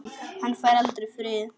Hann fær aldrei frið.